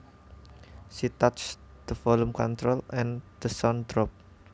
She touched the volume control and the sound dropped